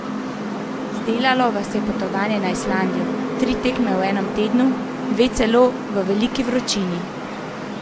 Zdelalo vas je potovanje na Islandijo, tri tekme v enem tednu, dve celo v veliki vročini.